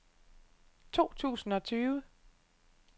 to tusind og tyve